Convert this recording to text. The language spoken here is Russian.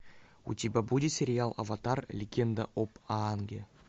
у тебя будет сериал аватар легенда об аанге